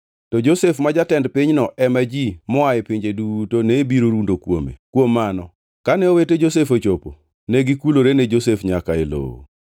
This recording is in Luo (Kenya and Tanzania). To Josef ma jatend pinyno ema ji moa e pinje duto ne biro rundo kuome. Kuom mano, kane owete Josef ochopo, negikulore ne Josef nyaka e lowo.